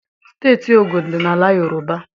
Steeti Ogun dị n'ala Yoroba.